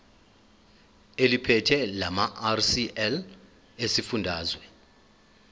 eliphethe lamarcl esifundazwe